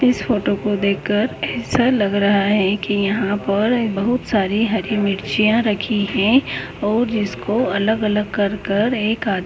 इस फोटो को देख कर ऐसा लग रहा हैकी यहाँ पर बहुत सारी हरी मिर्चियाँ रखी हैऔर जिसको अलग अलग कर कर एक आद--